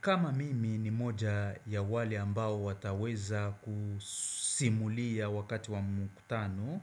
Kama mimi ni mmoja wa wale ambao wataweza kusimulia wakati wa mkutano